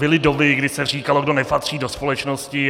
Byly doby, kdy se říkalo, kdo nepatří do společnosti.